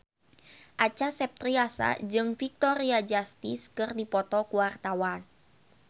Acha Septriasa jeung Victoria Justice keur dipoto ku wartawan